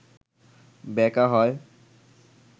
ব্যাকা হয়